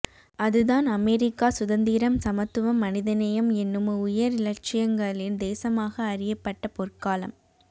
அதுதான் அமெரிக்கா சுதந்திரம் சமத்துவம் மனிதநேயம் என்னும் உயர் இலட்சியங்களின் தேசமாக அறியப்பட்ட பொற்காலம்